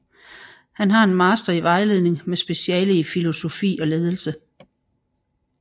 Han har en master i vejledning med speciale i filosofi og ledelse